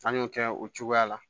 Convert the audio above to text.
An y'o kɛ o cogoya la